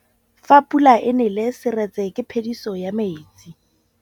Fa pula e nelê serêtsê ke phêdisô ya metsi.